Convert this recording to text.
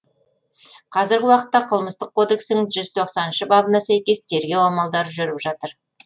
қазіргі уақытта қылмыстық кодексін бабына сәйкес тергеу амалдары жүріп жатыр